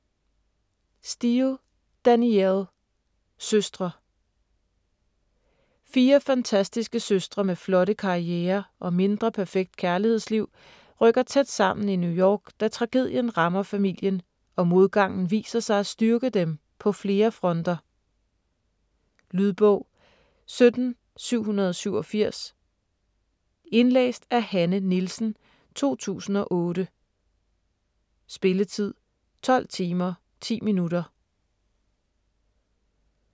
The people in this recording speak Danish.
Steel, Danielle: Søstre Fire fantastiske søstre med flotte karrierer og mindre perfekt kærlighedsliv rykker tæt sammen i New York, da tragedien rammer familien, og modgangen viser sig at styrke dem på flere fronter. Lydbog 17787 Indlæst af Hanne Nielsen, 2008. Spilletid: 12 timer, 10 minutter.